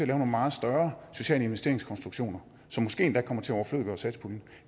nogle meget større sociale investeringskonstruktioner som måske endda kommer til at overflødiggøre satspuljen